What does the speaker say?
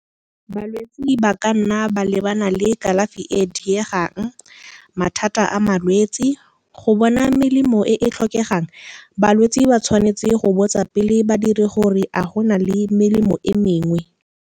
Balwetse ba ka nna ba lebana le kalafi e diegang, mathata a malwetse. Go bona melemo e e tlhokegang, balwetse ba tshwanetse go botsa pele badiri gore, a go na le melemo e mengwe.